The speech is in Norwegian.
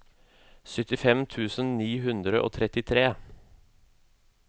syttifem tusen ni hundre og trettitre